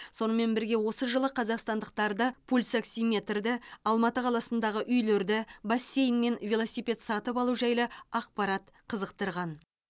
сонымен бірге осы жылы қазақстандықтарды пульсоксиметрді алматы қаласындағы үйлерді бассейн мен велосипед сатып алу жайлы ақпарат қызықтырған